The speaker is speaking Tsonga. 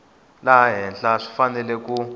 laha henhla swi fanele ku